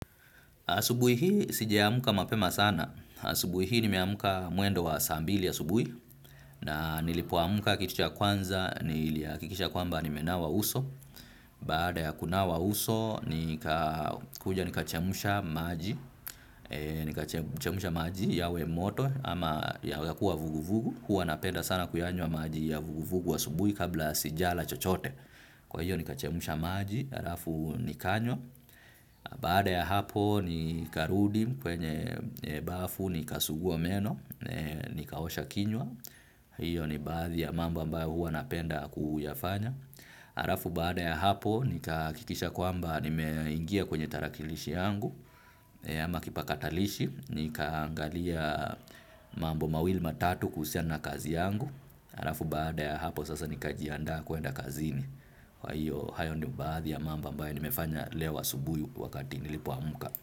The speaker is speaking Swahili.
Asubui hii sijaamka mapema sana. Asubui hii nimeamka mwendo wa saa mbili asubui nanilipoamka kitu cha kwanza nilihakikisha kwamba nimenawa uso. Baada ya kunawa uso, nika kuja nikachemsha maji. Nikachemsha maji yawe moto ama yawekuwa vuguvugu. Hua napenda sana kuyanywa maji ya vuguvugu asubui kabla sijala chochote. Kwa hiyo ni kachemsha maji. Arafu nikanywa. Baada ya hapo nikarudi kwenye bafu nikasuguwa meno. Nikaosha kinywa. Hiyo ni baadhi ya mambo ambayo huwa napenda kuyafanya. Arafu baada ya hapo nikahakikisha kwamba nimeingia kwenye tarakilishi yangu ama kipakatalishi nikaangalia mambo mawili matatu kuhusiana kazi yangu. Arafu baada ya hapo sasa nikajianda kuenda kazini. Kwa hiyo hayo ni baadhi ya mambo ambayo nimefanya leo asubuhi wakati nilipoamka.